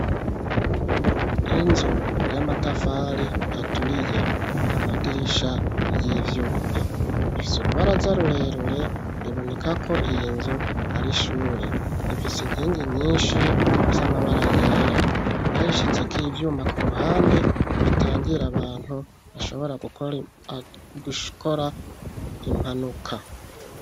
Inzu y'amatafari aturiye amadirisha y'ivyuma ifise urubaraza rurerure biboneka ko iyi nzu ari shure ifise inkingi nyinshi z'amabara yera bayishize ko ivyuma ku ruhande bitangira abantu ashobora gukora impanuka.